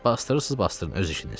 Basdırırsız basdırın öz işinizdir.